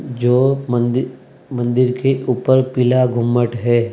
जो मंदिर मंदिर के ऊपर पीला गुम्मट है।